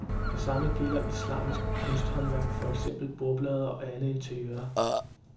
Det samme gælder islamisk kunsthåndværk, for eksempel bordplader og andet interiør.